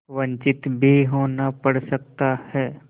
वंचित भी होना पड़ सकता है